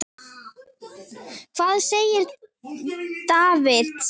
Hvað gerir Davids?